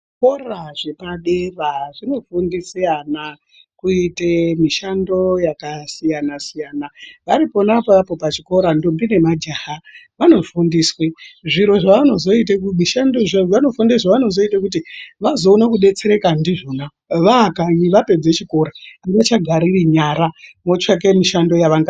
Zvikora zvepadera zvinofundise ana ,kuite mishando yakasiyana-siyana, vari pona apapo pachikora ndombi nemajaha vanofundiswe ,zviro zvavanozoite kumishando zvavanozozva vazoone kudetsereka ndizvona vaakanyi, vapedze chikora, avachagariri nyara, votsvake mishando yavangaita.